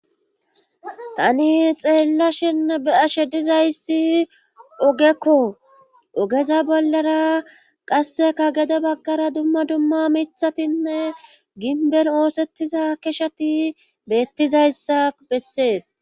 Tani xeella shin be ashe dizayssi ogekko ogeza bollara qasseka gede baggara dumma dumma mithatinne ginben oosettiza keshati beettizayssa bessees.